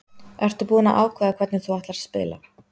Ertu búinn að ákveða hvernig þú ætlar að spila?